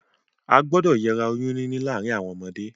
A gbúdọ̀ yera oyún níní láàrin àwon ọmọdé